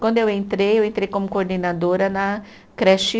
Quando eu entrei, eu entrei como coordenadora na creche